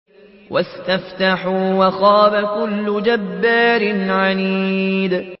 وَاسْتَفْتَحُوا وَخَابَ كُلُّ جَبَّارٍ عَنِيدٍ